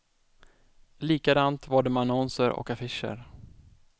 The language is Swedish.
Likadant var det med annonser och affischer.